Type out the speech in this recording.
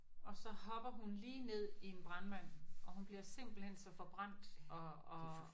Og så hopper hun lige ned i en brandmand og hun bliver simpelthen så forbrændt og og